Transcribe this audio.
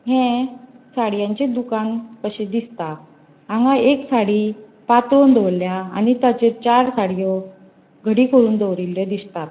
ह्ये साड़ियांचे दुकान कशे दिसता हांगा एक साड़ी पातळोण दोवोरल्या आणि ताचेर चार साड़ियों घडी करून दोवरिल्ल्यो दिसतात.